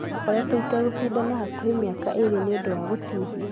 Ndakũretwo itegũshidana hakuhe miaka ĩrĩ niũndũ wa gũtihio.